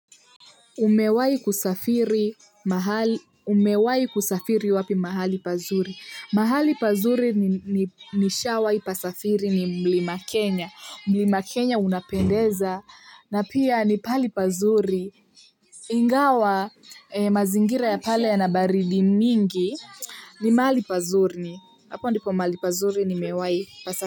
Umewahi kusafiri wapi mahali pazuri? Mahali pazuri nishawahi pasafiri ni Mlima Kenya. Mlima Kenya unapendeza na pia ni pahali pazuri. Ingawa mazingira ya pale yana baridi mingi ni mahali pazuri. Hapo ndipo mahali pazuri nimewahi pasafiri.